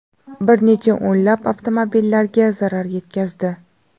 bir necha o‘nlab avtomobillarga zarar yetkazdi.